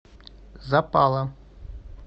запала